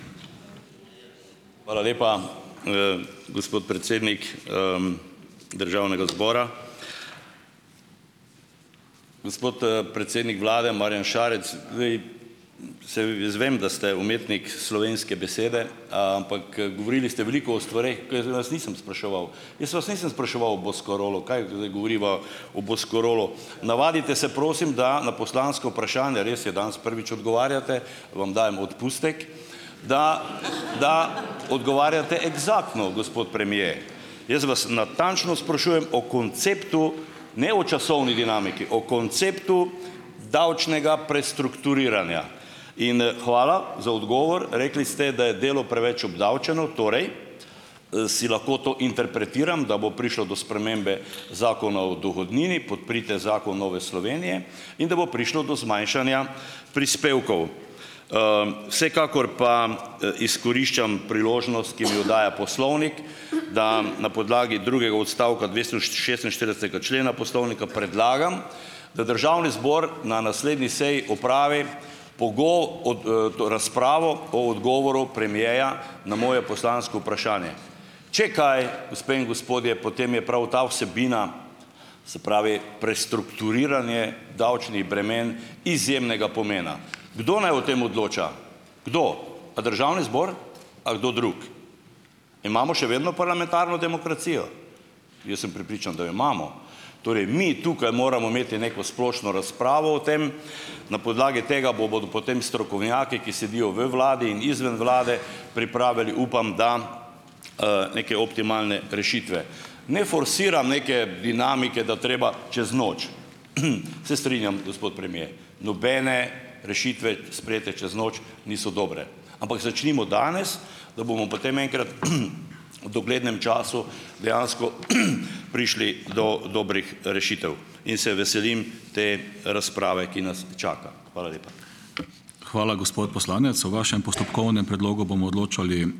Hvala lepa, gospod predsednik Državnega zbora. Gospod predsednik Vlade, Marjan Šarec. saj v jaz vem, da ste umetnik slovenske besede, ampak govorili ste veliko o stvareh, katere vas nisem spraševal. Jaz vas nisem spraševal o Boscarolu, kaj zdaj govoriva o Boscarolu. Navadite se prosim, da na poslansko vprašanje, res je, danes prvič odgovarjate, vam dajem odpustek, da da odgovarjate eksaktno, gospod premier. Jaz vas natančno sprašujem o konceptu, ne o časovni dinamiki, o konceptu davčnega prestrukturiranja. In hvala za odgovor, rekli ste, da je delo preveč obdavčeno, torej si lahko to interpretiram, da bo prišlo do spremembe Zakona o dohodnini, podprite zakon Nove Slovenije, in da bo prišlo do zmanjšanja prispevkov. Vsekakor pa izkoriščam priložnost, ki mi jo daje Poslovnik da na podlagi drugega odstavka dvesto š šestinštiridesetega člena Poslovnika predlagam, da Državni zbor na naslednji seji opravi od to razpravo o odgovoru premiera na moje poslansko vprašanje. Če kaj, gospe in gospodje, potem je prav ta vsebina, se pravi, prestrukturiranje davčnih bremen izjemnega pomena. Kdo naj o tem odloča? Kdo? A Državni zbor a kdo drug? Imamo še vedno parlamentarno demokracijo? Jaz sem prepričan, da jo imamo. Torej mi tukaj moramo imeti neko splošno razpravo o tem. Na podlagi tega bodo potem strokovnjaki, ki sedijo v Vladi in izven Vlade, pripravili, upam da, neke optimalne rešitve. Ne forsiram neke dinamike, da treba čez noč. Se strinjam, gospod premier. Nobene rešitve sprejete čez noč niso dobre, ampak začnimo danes, da bomo potem enkrat v doglednem času dejansko prišli do dobrih rešitev in se veselim te razprave, ki nas čaka. Hvala lepa.